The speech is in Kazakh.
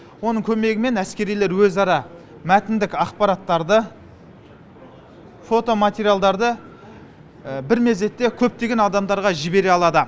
оның көмегімен әскерилер өзара мәтіндік ақпараттарды фото материалдарды бір мезетте көптеген адамға жібере алады